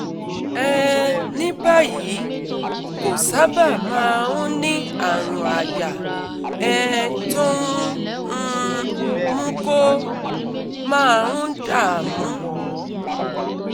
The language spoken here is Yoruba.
um ní báyìí, kò sábà máa ń ní àrùn àyà um tó ń um mú kó máa ń dààmú